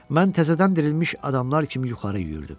Mən təzədən dirilmiş adamlar kimi yuxarı yüyürdüm.